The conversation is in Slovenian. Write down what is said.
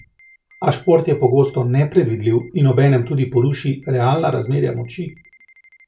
A šport je pogosto nepredvidljiv in obenem tudi poruši realna razmerja moči.